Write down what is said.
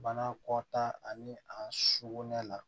Bana kɔta ani a sukunɛ la